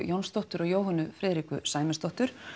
Jónsdóttur og Jóhönnu Friðriku Sæmundsdóttur